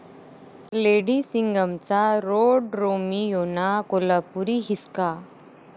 lady सिंघम'चा रोडरोमियोंना 'कोल्हापुरी हिसका'